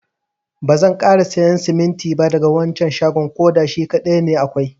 Bazan kara siyan siminti ba daga wancan shagon. koda shi kadai ne akwai.